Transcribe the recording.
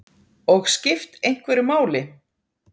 Og skipt einhverju máli.